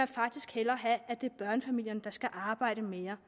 faktisk hellere have at det er børnefamilierne der skal arbejde mere